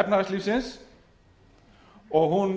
efnahagslífsins og hún